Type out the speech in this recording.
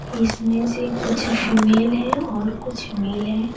इसमें से कुछ फीमेल है और कुछ मेल है।